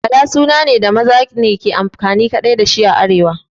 Bala suna ne da maza ne kaɗai suke amfani da shi a arewa